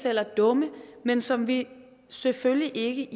eller dumme men som vi selvfølgelig ikke